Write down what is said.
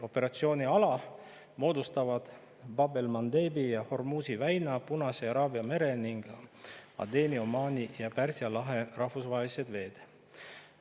Operatsiooniala moodustavad Bab el Mandebi ja Hormuzi väina, Punase ja Araabia mere ning Adeni, Omaani ja Pärsia lahe rahvusvahelised veed.